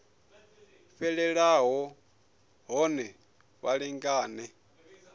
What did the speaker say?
fhelelaho na hone vha lingane